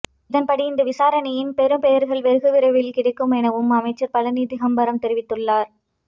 இதன்படி இந்த விசாரணையின் பெறுபேறுகள் வெகுவிரைவில் கிடைக்கும் எனவும் அமைச்சர் பழனி திகாம்பரம் தெரிவித்துள்ளார்